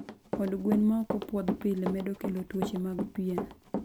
Od gwen ma ok opwodh pile, medo kelo tuoche mag pien.